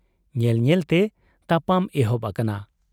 ᱧᱮᱞ ᱧᱮᱞᱛᱮ ᱛᱟᱯᱟᱢ ᱮᱦᱚᱵ ᱟᱠᱟᱱᱟ ᱾